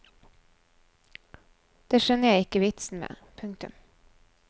Det skjønner jeg ikke vitsen med. punktum